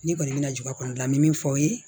Ne kɔni mɛna juba kɔnɔna me min fɔ aw ye